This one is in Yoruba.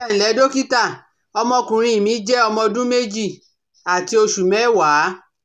Ẹ ǹlẹ́ dọ́kítà, Ọmọkùnrin mi jẹ́ ọmọ ọdún méjì àti oṣù mẹ́wàá